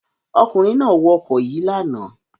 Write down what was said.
Ọkùnrin náà wọ ọkọ̀ yìí lánàá.